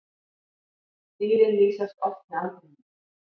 Dýrin lýsast oft með aldrinum.